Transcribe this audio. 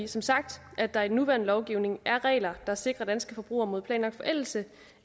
som sagt at der i den nuværende lovgivning er regler der sikrer danske forbrugere mod planlagt forældelse